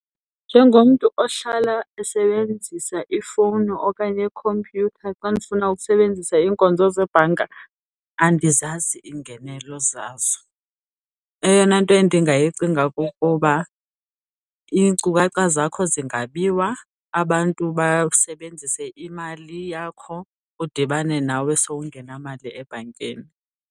Njengomntu ohlala esebenzisa ifowuni okanye yikhompyutha xa ndifuna ukusebenzisa iinkonzo zebhanka, andizazi iingenelo zazo. Eyona nto endingayicinga kukuba iinkcukacha zakho zingabiwa, abantu basebenzise imali yakho udibane nawe sowungenamali ebhankini.